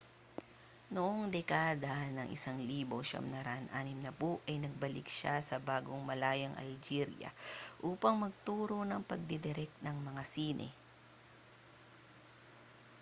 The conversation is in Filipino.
noong dekada ng 1960 ay nagbalik siya sa bagong-malayang algeria upang magturo ng pagdidirek ng mga sine